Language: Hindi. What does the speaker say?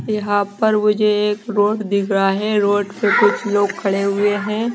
यहां पर मुझे एक रोड दिख रहा है रोड पे कुछ लोग खड़े हुए हैं।